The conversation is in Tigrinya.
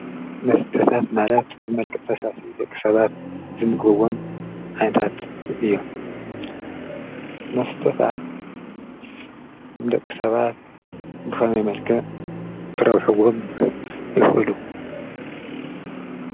መስታት ማለት ደቂ ሰባት ብመልክዕ ፈሳሲ ዝምገብዎም እዮም። መስተታት ብኸመይ ይጠቅሙ?